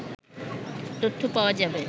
তথ্য পাওয়া যাবে